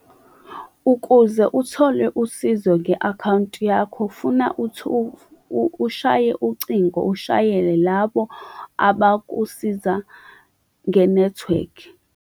Ukuze uthole usizo nge-akhawunti yakho, funa ushaye ucingo, ushayele labo abakusiza nge-network.